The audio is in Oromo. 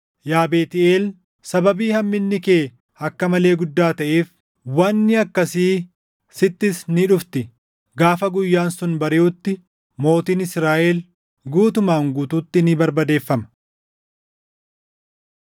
Yaa Beetʼeel, sababii hamminni kee akka malee guddaa taʼeef, wanni akkasii sittis ni dhufti. Gaafa guyyaan sun bariʼutti mootiin Israaʼel guutumaan guutuutti ni barbadeeffama.